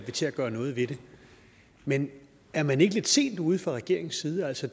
til at gøre noget ved det men er man ikke lidt sent ude fra regeringens side altså